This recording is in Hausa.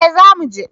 eh za mu je